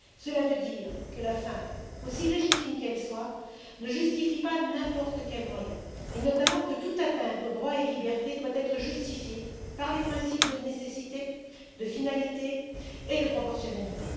Cela veut dire que la fin, aussi légitime qu'elle soit, ne justifie pas n'importe quel moyen et, notamment, que toute atteinte aux droits et libertés doit être justifiée par les principes de nécessité, de finalité et de proportionnalité.